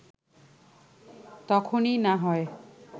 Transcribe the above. তখনই না হয়